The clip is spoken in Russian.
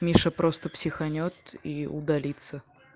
миша просто психанёт и удалиться